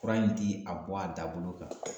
Fura in ti a bɔ a da bolo kan